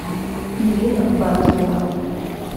ирина батырева